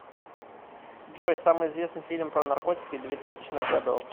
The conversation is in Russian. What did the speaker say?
джой самый известный фильм про наркотики две тысячных годов